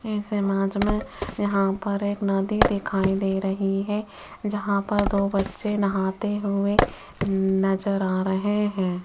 इस इमेज में यहां पर एक नदी दिखाई दे रही है जहां पर दो बच्चे नहाते हुए नजर आ रहे हैं।